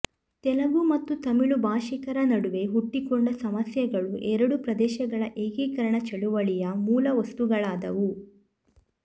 ತೆಲಗು ಮತ್ತು ತಮಿಳು ಭಾಷಿಕರ ನಡುವೆ ಹುಟ್ಟಿಕೊಂಡ ಸಮಸ್ಯೆಗಳು ಎರಡೂ ಪ್ರದೇಶಗಳ ಏಕೀಕರಣ ಚಳುವಳಿಯ ಮೂಲ ವಸ್ತುಗಳಾದವು